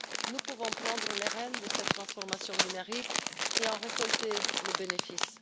Nous pouvons prendre les rênes de cette transformation numérique et en récolter les bénéfices.